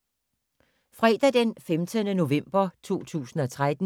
Fredag d. 15. november 2013